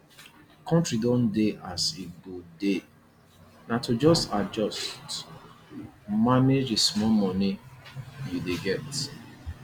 country don dey as e go dey na to just dey manage the small money you dey get